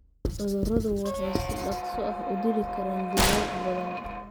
Cuduradu waxay si dhakhso ah u dili karaan digaag badan.